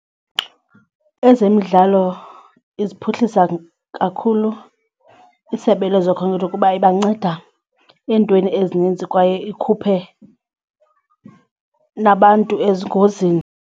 Ezemidlalo iziphuhlisa kakhulu isebe lezokhenketho kuba ibanceda entweni ezininzi kwaye ikhuphe nabantu ezingozini.